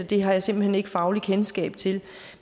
det har jeg simpelt hen ikke fagligt kendskab til